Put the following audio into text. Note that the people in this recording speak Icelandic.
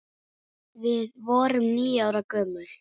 Við vorum níu ára gömul.